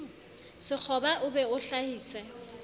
sekgoba o be o hlahise